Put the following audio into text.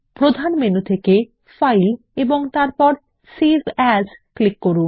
প্রধান মেনু থেকে ফাইল এবং তারপর সেভ এএস ক্লিক করুন